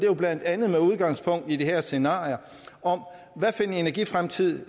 jo blandt andet med udgangspunkt i de her scenarier om hvilken energifremtid